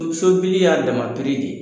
Sobili y'a dama de ye.